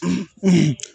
Unhun